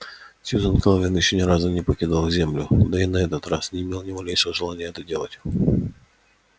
сьюзен кэлвин ещё ни разу не покидала землю да и на этот раз не имела ни малейшего желания это делать